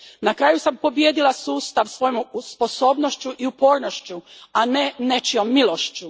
Na kraju sam pobijedila sustav svojom sposobnošću i upornošću, a ne nečijom milošću.